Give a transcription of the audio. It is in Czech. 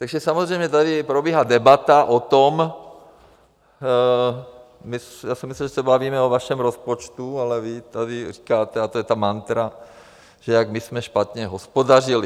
Takže samozřejmě tady probíhá debata o tom, já jsem myslel, že se bavíme o vašem rozpočtu, ale vy tady říkáte, a to je ta mantra, že jak my jsme špatně hospodařili.